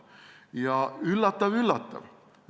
Ning üllatav-üllatav!